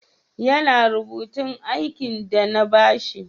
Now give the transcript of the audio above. Ya na rubutun aikin de na ba shi?